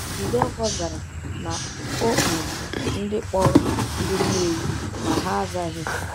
Jideofor zara na o kpọrọ ndị kpọrọ ndị Nnewi, ma ha azaghị.